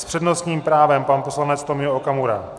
S přednostním právem pan poslanec Tomio Okamura.